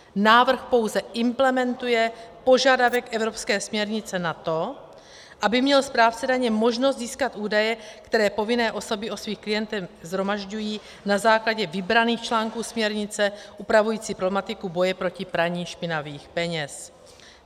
Návrh pouze implementuje požadavek evropské směrnice na to, aby měl správce daně možnost získat údaje, které povinné osoby o svých klientech shromažďují na základě vybraných článků směrnice upravující problematiku boje proti praní špinavých peněz.